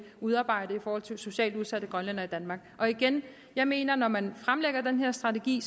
udarbejde i forhold til socialt udsatte grønlændere i danmark og igen jeg mener at når man fremlægger den her strategi